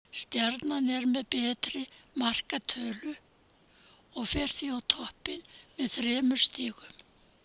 Stjarnan er með betri markatölu og fer því á toppinn með þremur stigum.